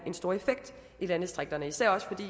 en stor effekt i landdistrikterne især også fordi